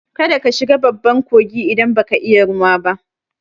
Kada ka shiga babban kogi idan baka iya ruwa ba!